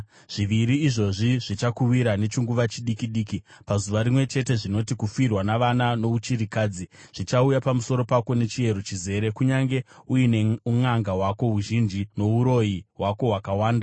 Zviviri izvozvi zvichakuwira nechinguva chidiki diki, pazuva rimwe chete zvinoti: kufirwa navana nouchirikadzi. Zvichauya pamusoro pako nechiyero chizere, kunyange uine unʼanga hwako huzhinji, nouroyi hwako hwakawanda.